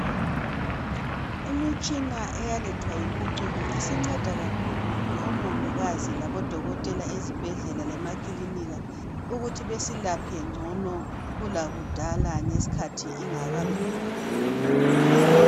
Imtshina eyalethwa yimpucuko isinceda kakhulu omongikazi labodokotela ezibhedlela lasemakilinika ukuthi beselaphe ngcono kulakudala ngesikhathi ingakabikhona.